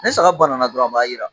Ni saga banana dɔrɔn a b'a jira